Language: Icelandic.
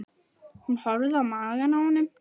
Hún horfði á magann á honum.